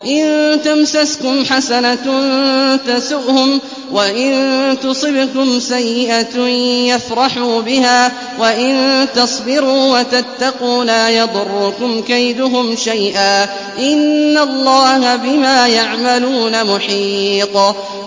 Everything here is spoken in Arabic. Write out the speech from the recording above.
إِن تَمْسَسْكُمْ حَسَنَةٌ تَسُؤْهُمْ وَإِن تُصِبْكُمْ سَيِّئَةٌ يَفْرَحُوا بِهَا ۖ وَإِن تَصْبِرُوا وَتَتَّقُوا لَا يَضُرُّكُمْ كَيْدُهُمْ شَيْئًا ۗ إِنَّ اللَّهَ بِمَا يَعْمَلُونَ مُحِيطٌ